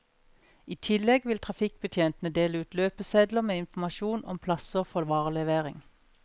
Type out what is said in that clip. I tillegg vil trafikkbetjentene dele ut løpesedler med informasjon om plasser for varelevering.